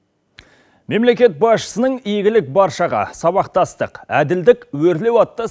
мемлекет басшысының игілік баршаға сабақтастық әділдік өрлеу атты